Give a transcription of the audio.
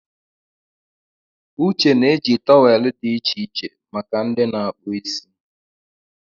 Uche na-eji tọwelụ dị iche iche make ndị na-akpụ isi.